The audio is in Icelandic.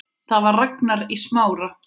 Það var Ragnar í Smára.